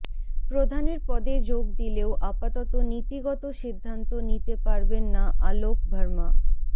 প্রধানের পদে যোগ দিলেও আপাতত নীতিগত সিদ্ধান্ত নিতে পারবেন না অলোক ভার্মা